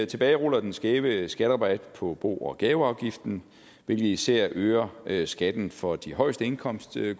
tilbageruller den skæve skatterabat på bo og gaveafgiften hvilket især øger øger skatten for grupperne med de højeste indkomster vi